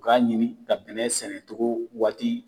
U k'a ɲini ka bɛnɛ sɛnɛcogo waati